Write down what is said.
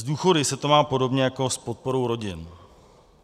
S důchody se to má podobně jako s podporou rodin.